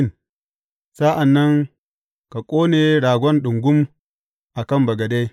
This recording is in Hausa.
Sa’an nan ka ƙone ragon ɗungum a kan bagade.